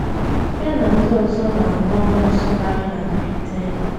Ya na ndị ọzọ na - arụ ọrụ nsụgharị na Briten.